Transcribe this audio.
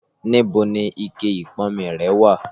Níbo ni ikẹ ìponmi rẹ wà